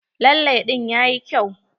Lalle ɗin yayi kyau.